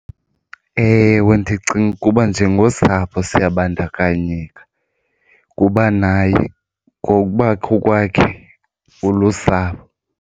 Ewe, ndicinga ukuba njengosapho siyabandakanyeka kuba naye ngokubakho kwakhe ulusapho.